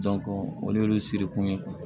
olu y'olu siri kun ye